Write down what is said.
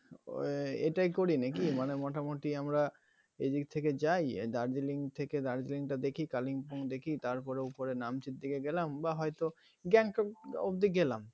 ঐটাই করি নাকি মানে মোটামুটি আমরা এদিক থেকে যাই darjeeling থেকে darjeeling দেখি kalimpong দেখি তারপরে ওপরে Namchi র দিকে গেলাম বা হয়তো Gangtok অবধি গেলাম